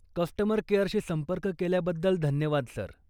Customer केअरशी संपर्क केल्याबद्दल धन्यवाद, सर.